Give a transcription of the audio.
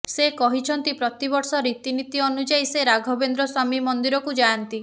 ସେ କହିଛନ୍ତି ପ୍ରତିବର୍ଷ ରୀତିନୀତି ଅନୁଯାୟା ସେ ରାଘବେନ୍ଦ୍ର ସ୍ୱାମୀ ମନ୍ଦିରକୁ ଯାଆନ୍ତି